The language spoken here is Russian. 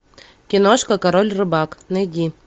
киношка король рыбак найди